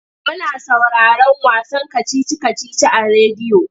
Muna sauraron wasan kacici-kacici a rediyo.